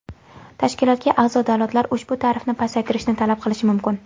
Tashkilotga a’zo davlatlar ushbu tarifni pasaytirishni talab qilishi mumkin.